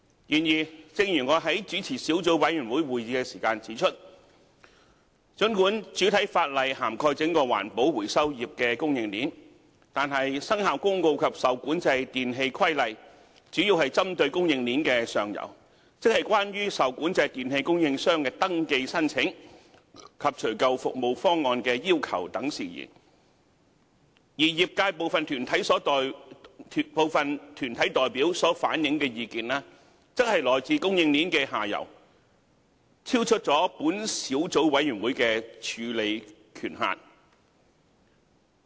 然而，正如我在主持小組委員會會議時指出，儘管主體法例涵蓋整個環保回收業的供應鏈，但《生效公告》及《受管制電器規例》主要是針對供應鏈的上游，即關於受管制電器供應商的登記申請及除舊服務方案的要求等事宜，而業界部分團體代表所反映的意見，則來自供應鏈的下游，超出小組委員會的處理權限。